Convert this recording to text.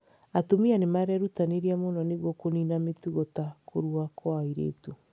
Atumia nĩ marerutanĩria mũno nĩguo kũniina mĩtugo ta kũrua kwa airĩtu.